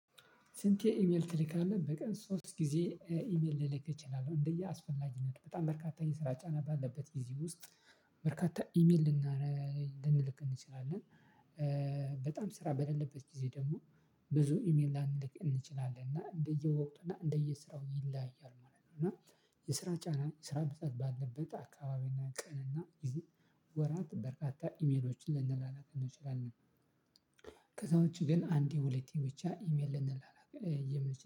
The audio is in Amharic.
ስንቴ? ኢሜል ትልካለህ በቀን ሶስት ጊዜ ኢሜል ልልክ እችላለሁ እንደየአስፈላጊነት በጣም በርካታ የስራ ጫና ባለበት ጊዜ ውስጥ በርካታ ኢሜል ልና ልንልክ እንችላለን። በጣም ስራ በሌለበት ጊዜ ደግሞ ብዙ ኢሜል ላንልክ እንችላለን እና እንደየወቅቱ እና እንደየስራው ይላያል ማለት ነው። እና የስራ ጫና የስራ ብዛት ባለበት አካባቢና ቀንና ወራት በርካታ ኢሜሎችን ልንላላክ እንችላለን። ከዛ ውጪ ግን አንዴ ሁለቴ ብቻ ኢሜል ልንላላክ የምንች